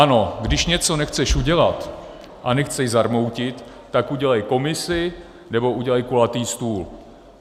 Ano, když něco nechceš udělat a nechceš zarmoutit, tak udělej komisi nebo udělej kulatý stůl.